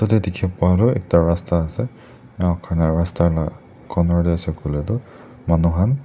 etia dikh pa tu ekta rasta ase corner teh ase koile tu manu khan--